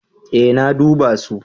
Ee na duba su.